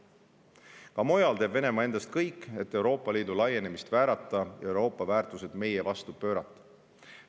Ka mujal teeb Venemaa endast kõik, et Euroopa Liidu laienemist väärata ja Euroopa väärtuseid meie vastu pöörata.